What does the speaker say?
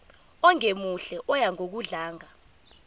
ongemuhle oya ngokudlanga